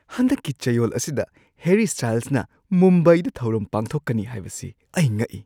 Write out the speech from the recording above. ꯍꯟꯗꯛꯀꯤ ꯆꯌꯣꯜ ꯑꯁꯤꯗ ꯍꯦꯔꯤ ꯁ꯭ꯇꯥꯏꯜꯁꯅ ꯃꯨꯝꯕꯥꯏꯗ ꯊꯧꯔꯝ ꯄꯥꯡꯊꯣꯛꯀꯅꯤ ꯍꯥꯏꯕꯁꯤ ꯑꯩ ꯉꯛꯏ꯫